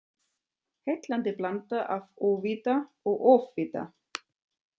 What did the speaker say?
Heillandi blanda af óvita og ofvita.